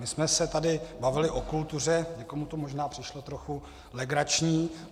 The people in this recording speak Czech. My jsme se tady bavili o kultuře, někomu to možná přišlo trochu legrační.